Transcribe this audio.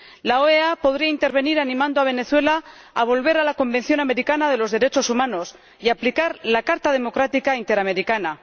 La OEA podría intervenir animando a Venezuela a volver a la Convención Americana sobre Derechos Humanos y a aplicar la Carta Democrática Interamericana.